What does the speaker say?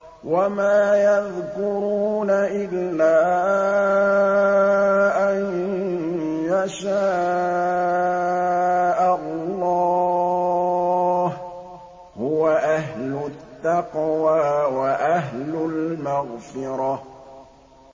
وَمَا يَذْكُرُونَ إِلَّا أَن يَشَاءَ اللَّهُ ۚ هُوَ أَهْلُ التَّقْوَىٰ وَأَهْلُ الْمَغْفِرَةِ